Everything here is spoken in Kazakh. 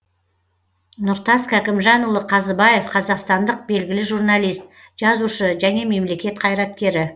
нұртас кәкімжанұлы қазыбаев қазақстандық белгілі журналист жазушы және мемлекет қайраткері